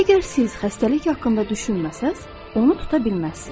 Əgər siz xəstəlik haqqında düşünməsəniz, onu tuta bilməzsiniz.